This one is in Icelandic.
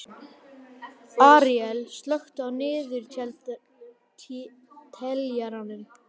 Aríela, slökktu á niðurteljaranum.